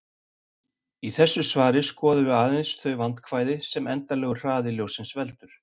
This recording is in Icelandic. Í þessu svari skoðum við aðeins þau vandkvæði sem endanlegur hraði ljóssins veldur.